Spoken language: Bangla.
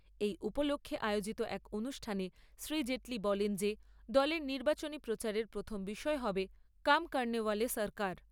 এই উপলক্ষে আয়োজিত এক অনুষ্ঠানে শ্রী জেটলি বলেন যে দলের নির্বাচনী প্রচারের প্রথম বিষয় হবে কাম করনেওয়ালে সরকার।